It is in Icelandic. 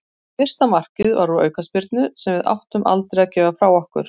Fyrsta markið var úr aukaspyrnu sem við áttum aldrei að gefa frá okkur.